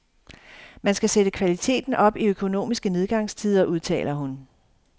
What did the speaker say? Man skal sætte kvaliteten op i økonomiske nedgangstider, udtaler hun.